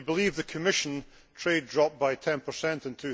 If you believe the Commission, trade dropped by 10 in